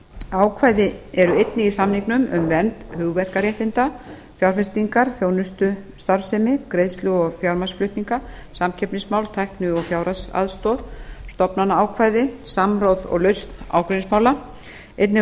ákvæði eru einnig í samningnum um vernd hugverkaréttinda fjárfestingar þjónustustarfsemi greiðslu og fjármagnsflutninga samkeppnismál tækni og fjárhagsaðstoð stofnanaákvæði samráð og lausn ágreiningsmála einnig